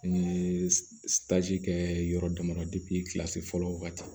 N ye kɛ yɔrɔ damadɔ kilasi fɔlɔ ka ca